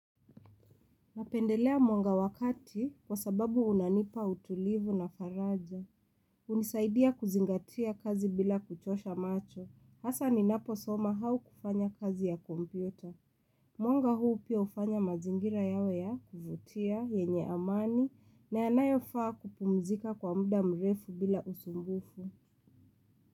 Napendelea mwanga wa kati kwa sababu unanipa utulivu na faraja. Unisaidia kuzingatia kazi bila kuchosha macho. Hasa ni napo soma au kufanya kazi ya kompyuta. Mwanga huu pia hufanya mazingira yawe ya kuvutia, yenye amani, na yanayo faa kupumzika kwa muda mrefu bila usumbufu.